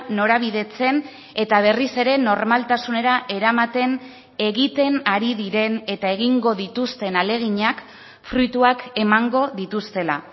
norabidetzen eta berriz ere normaltasunera eramaten egiten ari diren eta egingo dituzten ahaleginak fruituak emango dituztela